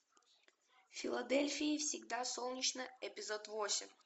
в филадельфии всегда солнечно эпизод восемь